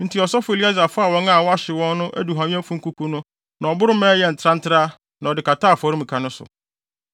Enti ɔsɔfo Eleasar faa wɔn a wɔahyew no aduhuamyɛfo nkuku no na ɔboro maa ɛyɛɛ ntrantraa na ɔde kataa afɔremuka no so,